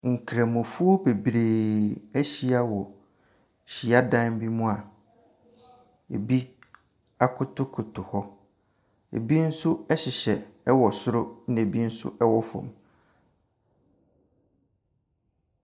Nkramofoɔ bebree ahyia wɔ hyiadan bi mu a ebi akotokotao hɔ. Ebi nso hyehyɛ wɔ soro na ebii nso wɔ fam.